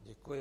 Děkuji.